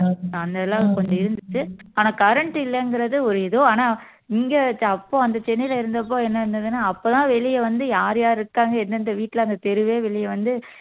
அந்த எல்லாம் கொஞ்சம் இருந்துச்சு ஆனா current இல்லைங்கிறது ஒரு இது ஆனா இங்க அப்போ அந்த சென்னையில இருந்தப்போ என்ன இருந்ததுன்னா அப்பதான் வெளிய வந்து யார் யார் இருக்காங்க எந்தெந்த வீட்டுல அந்த தெருவே வெளிய வந்து